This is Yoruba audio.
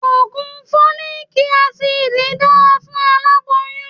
Ògùn Fólíkí asidì dára fún aláboyún.